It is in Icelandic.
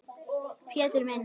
Pétur minn.